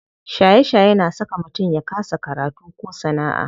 Shaye shaye na saka mutum ya kasa karatu ko sana'a.